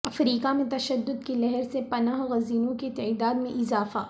افریقہ میں تشدد کی لہر سے پناہ گزینوں کی تعداد میں اضافہ